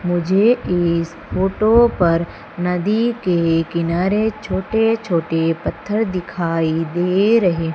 मुझे इस फोटो पर नदी के किनारे छोटे छोटे पत्थर दिखाई दे रहे--